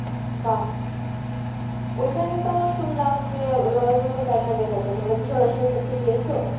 বাহ্ ঐখানে তো শুনলাম যে, royal bengal tiger দেখা যায়? তোমরা কি সরাসরি দেখতে পেয়েছো?